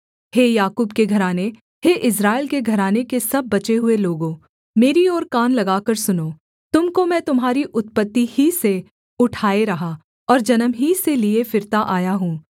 हे याकूब के घराने हे इस्राएल के घराने के सब बचे हुए लोगों मेरी ओर कान लगाकर सुनो तुम को मैं तुम्हारी उत्पत्ति ही से उठाए रहा और जन्म ही से लिए फिरता आया हूँ